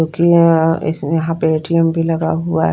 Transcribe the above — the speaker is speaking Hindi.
क्योंकि यहां इस में यहाँ पे ए_टी_एम भी लगा हुआ है।